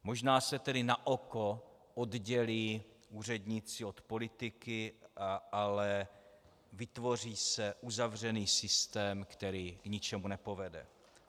Možná se tedy naoko oddělí úředníci od politiky, ale vytvoří se uzavřený systém, který k ničemu nepovede.